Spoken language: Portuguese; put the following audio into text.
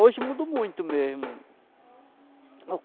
Hoje mudou muito mesmo.